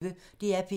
DR P1